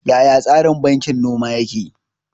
Yaya tsarin bankin noma yake?